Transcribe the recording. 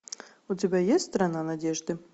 у тебя есть страна надежды